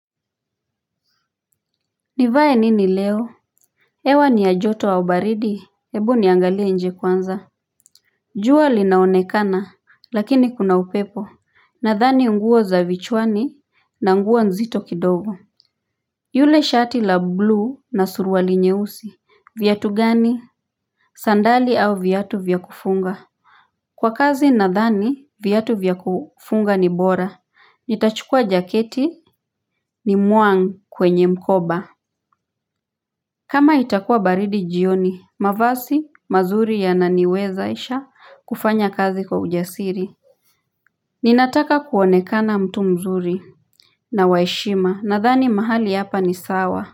Nivae nini leo hewa ni ya joto au baridi hebu niangalie nje kwanza. Jua linaonekana lakini kuna upepo. Nadhani nguo za vichwani na nguo nzito kidogo. Yule shati la blue na suruali nyeusi viatu gani sandali au viatu vya kufunga. Kwa kazi nadhani viatu vya kufunga ni bora nitachukua jaketi ni muang kwenye mkoba. Kama itakua baridi jioni, mavazi, mazuri yananiwezesha kufanya kazi kwa ujasiri. Ninataka kuonekana mtu mzuri na wa heshima nadhani mahali hapa ni sawa.